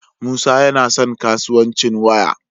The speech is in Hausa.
Musa yana son kasuwanci waya